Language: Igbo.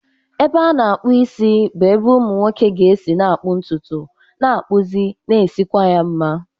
Ebe a na-akpụ isi bụ ebe ụmụ nwoke ga-esi na-akpụ ntutu, na-akpụzi, na-esikwa ya mma.